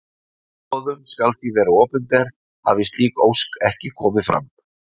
Boðun skal því vera opinber hafi slík ósk ekki komið fram.